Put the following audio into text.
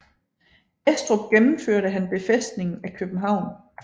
Estrup gennemførte han befæstningen af København